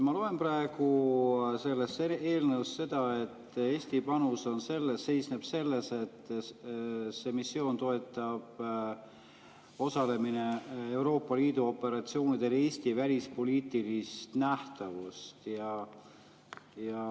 Ma loen praegu eelnõust, et Eesti panus seisneb selles, et see missioon ja osalemine Euroopa Liidu operatsioonidel toetab Eesti välispoliitilist nähtavust.